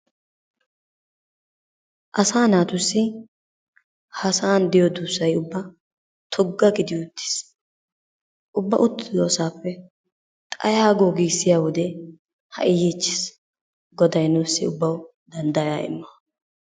Asaa natusi ha sa'a dusay tugaa giddi uttiss, ubbaa uttidosappe xayago gisiyaa wodee hai yichchis goday nussi dandayaa imo.